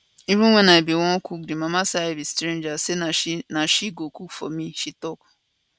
even wen i bin wan cook di mama say i be stranger say na she na she go cook for me she tok